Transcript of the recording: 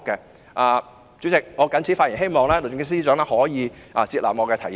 代理主席，我謹此發言，希望律政司司長可以接納我的提議。